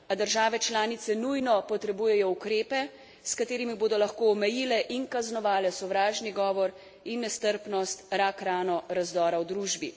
A države članice nujno potrebujejo ukrepe, s katerimi bodo lahko omejile in kaznovale sovražni govor in nestrpnost, rak rano razdora v družbi.